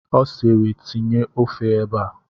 Ọ siiri, tinye ofe ebe a!